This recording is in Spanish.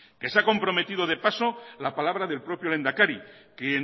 se ha convertido de paso la palabra del propio lehendakari quien